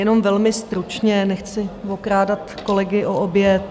Jenom velmi stručně, nechci okrádat kolegy o oběd.